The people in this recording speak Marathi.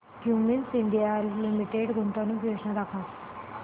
क्युमिंस इंडिया लिमिटेड गुंतवणूक योजना दाखव